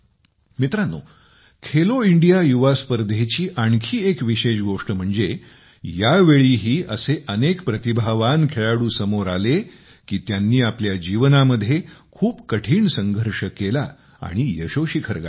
मित्रांनो खेलो इंडिया युवा स्पर्धेची आणखी एक विशेष गोष्ट म्हणजे यावेळीही असे अनेक प्रतिभावान खेळाडू समोर आले की त्यांनी आपल्या जीवनामध्ये खूप कठीण संघर्ष केला आणि यशोशिखर गाठले